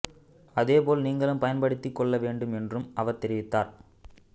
அதே போல நீங்களும் பயன்படுத்திக் கொள்ள வேண்டும் என் றும் அவர் தெரிவித்தார்